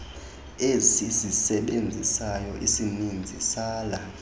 esizisebenzisayo isininzi sala